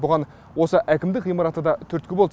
бұған осы әкімдік ғимараты да түрткі болды